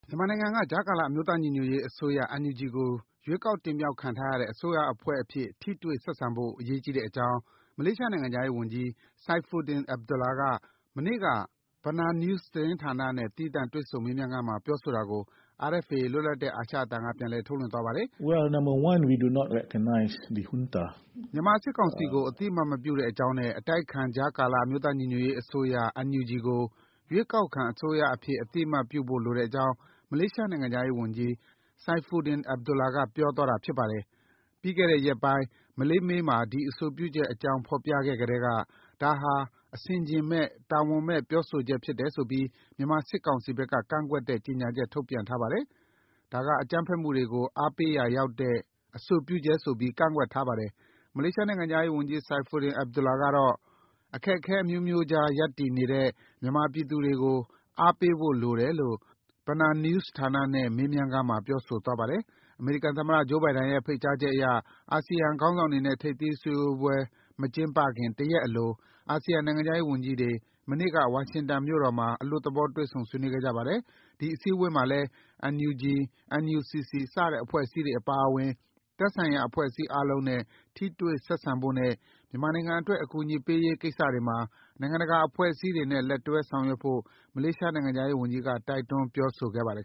မြန်မာနိုင်ငံက ကြားကာလ အမျိုးသားညီညွတ်ရေး အစိုးရ NUG ကို ရွေးချယ်တင်မြှောကက်ခံထားရတဲ့ အစိုးရအဖွဲ့အဖြစ် ထိတွေ့ဆက်ဆံဖို့ အရေးကြီးတဲ့အကြောင်း မလေးရှားနိုင်ငံခြားရေး ဝန်ကြီး Saifuddin Abdullah က မနေ့က BenarNews ဌာနနဲ့ သီးသန့် တွေ့ဆုံမေးမြန်းခန်းမှာ ပြောဆိုတာကို RFA လွတ်လပ်တဲ့ အာရှအသံက ပြန်လည် ထုတ်လွှင့်သွားပါတယ်။ မြန်မာစစ်ကောင်စီကို အသိအမှတ်မပြုတဲ့အကြောင်းနဲ့ အတိုက်အခံ ကြားကလအမျိုးသားညီညွတ်ရေးအစိုးရ NUG ကို ရွေးကောက်ခံအစိုးရအဖြစ် အသိအမှတ်ပြုဖို့လိုတဲ့အကြောင်း မလေးရှားနိုင်ငံ ခြားရေးဝန်ကြီး Saifuddin Abdullah က ပြောဆိုသွားတာပါ။ ပြီးခဲ့တဲ့ ရက်ပိုင်း Malay Mail မှာ ဒီ အဆိုပြုချက်အကြောင်း ဖော်ပြခဲ့ကတည်းက ဒါဟာ အဆင်အခြင်မဲ့၊ တာဝန်မဲ့ ပြောဆိုချက်ဖြစ်တယ်ဆိုပြီး မြန်မာစစ်ကောင်စီဘက်က ကန့်ကွက်တဲ့ ကြေညာချက် ထုတ်ပြန်ထားပါတယ်။ ဒါက အကြမ်းဖက်မှုတွေကို အားပေးရာရောက်နိုင်တဲ့ အဆိုပြုချက်ဆိုပြီး ကန့်ကွက်ထားပါတယ်။ မလေးရှားနိုင်ငံခြားရေး ဝန်ကြီး Saifuddin Abdullah ကတော့ အခက်အခဲအမျိုးမျိုးကြား ရပ်တည်နေတဲ့ မြန်မာပြည်သူတွေကို အားပေးဖို့လိုတယ်လို့ BenarNews ဌာနနဲ့ မေးမြန်းခန်းမှာ ပြောဆိုသွားပါတယ်။ အမေရိကန်သမ္မတ Joe Biden ရဲ့ ဖိတ်ကြားချက်အရ အာဆီယံ ခေါင်းဆောင်တွေနဲ့ ထိပ်သီးအစည်းအဝေး မကျင်းပခင် တရက်အလို အာဆီယံနိုင်ငံခြားရေးဝန်ကြီးတွေ မနေ့က ဝါရှင်တန်မြို့တော်မှာ အလွတ်သဘော တွေ့ဆုံဆွေးနွေးခဲ့ကြပါတယ်။ ဒီအစည်းအဝေးမှာလည်း NUG၊ NUCC စတဲ့ အဖွဲ့အစည်းတွေအပါအဝင် သက်ဆိုင်ရာအဖွဲ့အစည်းအားလုံးနဲ့ ထိတွေ့ဆက်ဆံဖို့နဲ့ မြန်မာနိုင်ငံအတွက် အကူအညီပေးရေးကိစ္စတွေမှာ နိုင်ငံတကာ အဖွဲ့အစည်းတွေနဲ့ လက်တွဲ ဆောင်ရွက်ဖို့ မလေးရှား နိုင်ငံခြားရေးဝန်ကြီးက တိုက်တွန်းပြောဆိုခဲ့ပါတယ်